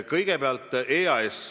Kõigepealt EAS.